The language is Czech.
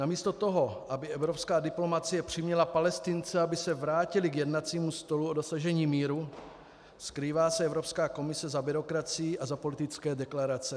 Namísto toho, aby evropská diplomacie přiměla Palestince, aby se vrátili k jednacímu stolu o dosažení míru, skrývá se Evropská komise za byrokracii a za politické deklarace.